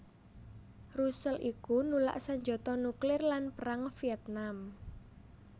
Russell iku nulak sanjata nuklir lan Perang Vietnam